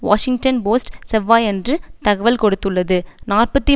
Washington Post செவ்வாயன்று தகவல் கொடுத்துள்ளது நாற்பத்தி